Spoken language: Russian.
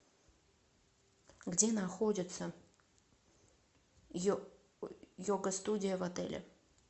где находится йога студия в отеле